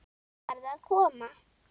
Farðu að koma.